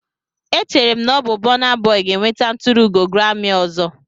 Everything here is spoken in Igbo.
Echere m na ọ bụ Burna Boy ga-enweta nturuugo grami ọzọ.